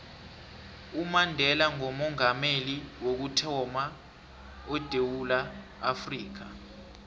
umandela ngoomongameli wokuthama edewula afrika